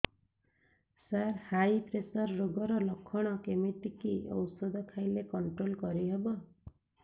ସାର high pressure ରୋଗର ଲଖଣ କେମିତି କି ଓଷଧ ଖାଇଲେ କଂଟ୍ରୋଲ କରିହେବ